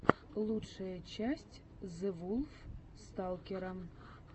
лучшая часть зэвулфсталкера